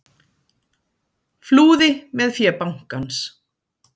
Flúði með fé bankans